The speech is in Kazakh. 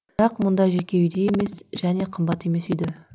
бірақ мұндай жеке үйде емес және қымбат емес үйде